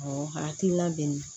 Awɔ hakilina bɛ n na